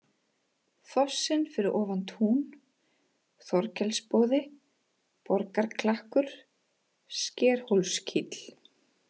Fossinn fyrir ofan tún, Þorkelsboði, Borgarklakkur, Skerhólskíll